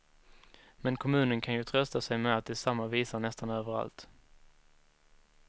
Men kommunen kan ju trösta sig med att det är samma visa nästan överallt.